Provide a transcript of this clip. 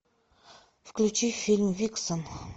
включи фильм виксен